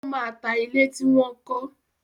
Ó máa ta ilé tí wọn kọ.